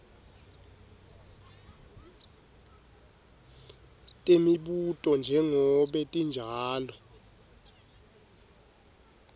temibuto njengobe tinjalo